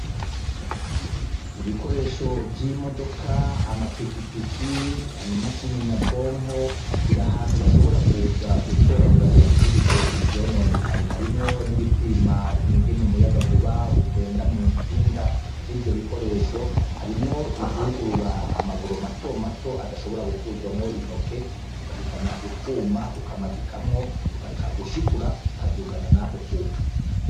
Ibikoresho vy'imodoka, amapikipiki, ibikoresho nyabwonko biri ahantu bashobora kuza gutora, ngo basubirize ivyononekaye. Harimwo n'ibipima ingene umuyagankuba ugenda mu ntsinga z'ivyo bikoresho harimwo ivyugurura amaburo matomato adashobora gukuzwamwo intoke, ugahitana utwuma ukamadikamwo, ugaca ushikura bikamadukana nako kuma.